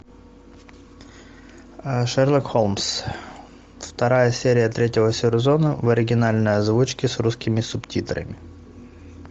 шерлок холмс вторая серия третьего сезона в оригинальной озвучке с русскими субтитрами